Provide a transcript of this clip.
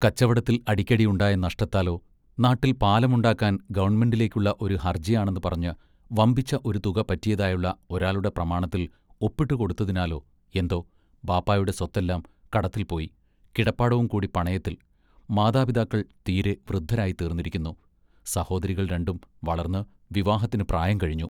കച്ചവടത്തിൽ അടിക്കടി ഉണ്ടായ നഷ്ടത്താലോ, നാട്ടിൽ പാലമുണ്ടാക്കാൻ ഗവൺമെന്റിലേക്കുള്ള ഒരു ഹർജിയാണെന്ന് പറഞ്ഞ് വമ്പിച്ച ഒരു തുക പറ്റിയതായുള്ള ഒരാളുടെ പ്രമാണത്തിൽ ഒപ്പിട്ടു കൊടുത്തതിനാലോ എന്തോ ബാപ്പായുടെ സ്വത്തെല്ലാം കടത്തിൽ പോയി കിടപ്പാടവും കൂടി പണയത്തിൽ മാതാപിതാക്കൾ തീരെ വൃദ്ധരായിത്തീർന്നിരിക്കുന്നു; സഹോദരികൾ രണ്ടും വളർന്ന് വിവാഹത്തിനു പ്രായം കഴിഞ്ഞു.